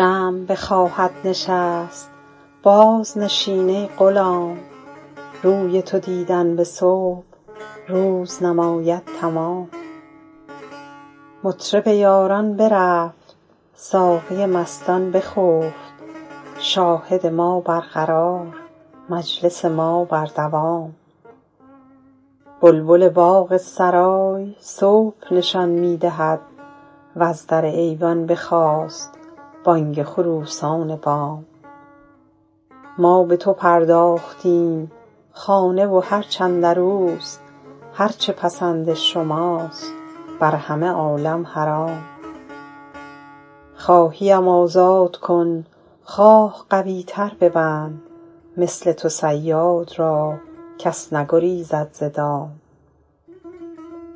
شمع بخواهد نشست بازنشین ای غلام روی تو دیدن به صبح روز نماید تمام مطرب یاران برفت ساقی مستان بخفت شاهد ما برقرار مجلس ما بر دوام بلبل باغ سرای صبح نشان می دهد وز در ایوان بخاست بانگ خروسان بام ما به تو پرداختیم خانه و هرچ اندر اوست هر چه پسند شماست بر همه عالم حرام خواهی ام آزاد کن خواه قوی تر ببند مثل تو صیاد را کس نگریزد ز دام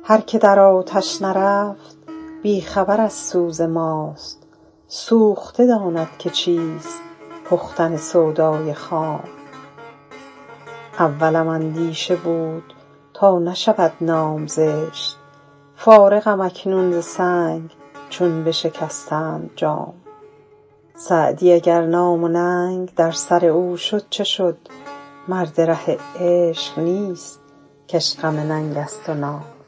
هر که در آتش نرفت بی خبر از سوز ماست سوخته داند که چیست پختن سودای خام اولم اندیشه بود تا نشود نام زشت فارغم اکنون ز سنگ چون بشکستند جام سعدی اگر نام و ننگ در سر او شد چه شد مرد ره عشق نیست که اش غم ننگ است و نام